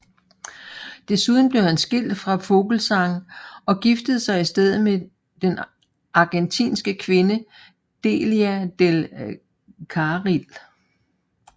Desuden blev han skilt fra Vogelzang og giftede sig i stedet med den argentinske kvinde Delia del Carril